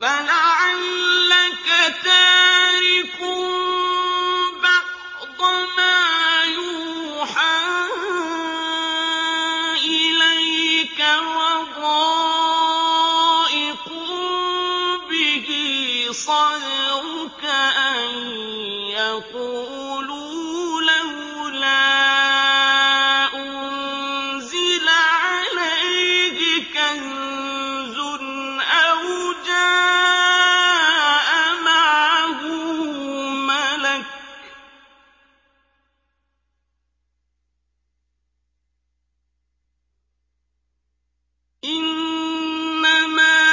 فَلَعَلَّكَ تَارِكٌ بَعْضَ مَا يُوحَىٰ إِلَيْكَ وَضَائِقٌ بِهِ صَدْرُكَ أَن يَقُولُوا لَوْلَا أُنزِلَ عَلَيْهِ كَنزٌ أَوْ جَاءَ مَعَهُ مَلَكٌ ۚ إِنَّمَا